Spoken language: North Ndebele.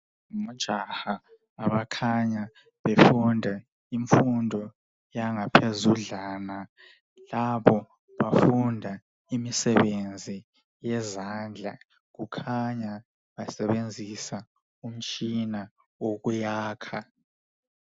Ojaha abakhanya befunda imfundo yangaphezudlana lapho bafunda imisebenzi yezandla kukhanya basebenzisa umtshina wokuyakha.